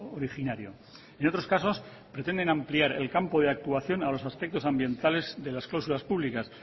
originario y en otros casos pretenden ampliar el campo de actuación a los aspectos ambientales de las cláusulas públicas